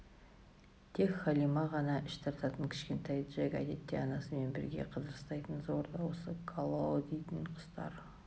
тек халима ғана іш тартатын кішкентай джек әдетте анасымен бірге қыдырыстайтын зор дауысты калао дейтін құстар